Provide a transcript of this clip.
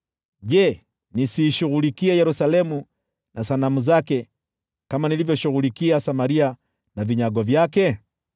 je, nisiishughulikie Yerusalemu na sanamu zake kama nilivyoshughulikia Samaria na vinyago vyake?’ ”